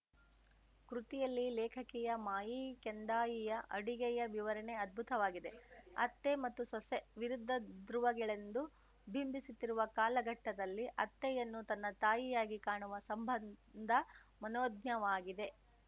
ಕೃತಿಯಲ್ಲಿ ಲೇಖಕಿಯ ಮಾಯಿ ಕೆಂದಾಯಿಯ ಅಡುಗೆಯ ವಿವರಣೆ ಅದ್ಭುತವಾಗಿದೆ ಅತ್ತೆ ಮತ್ತು ಸೊಸೆ ವಿರುದ್ಧ ಧ್ರುವಗಳೆಂದು ಬಿಂಬಿಸುತ್ತಿರುವ ಕಾಲಘಟ್ಟದಲ್ಲಿ ಅತ್ತೆಯನ್ನು ತನ್ನ ತಾಯಿಯಾಗಿ ಕಾಣುವ ಸಂಬಂಧ ಮನೋಜ್ಞವಾಗಿದೆ